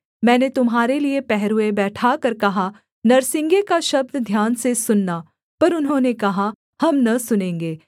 मैंने तुम्हारे लिये पहरुए बैठाकर कहा नरसिंगे का शब्द ध्यान से सुनना पर उन्होंने कहा हम न सुनेंगे